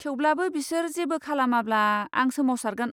थेवब्लाबो बिसोर जेबो खालामाब्ला, आं सोमावसारगोन।